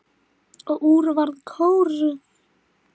Og úr varð kór.